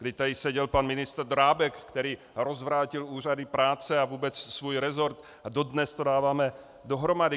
Kdy tady seděl pan ministr Drábek, který rozvrátil úřady práce a vůbec svůj resort, a dodnes to dáváme dohromady.